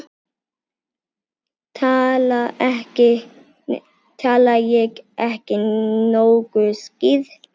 Tala ég ekki nógu skýrt?